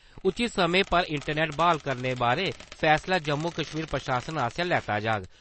उचित समें पर इंटरनेट ब्हाल करने बारै फैसला जम्मू-कश्मीर प्रशासन आसेआ लैता जाग।